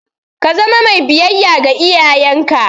Ka zama mai biyayya ga iyayenka!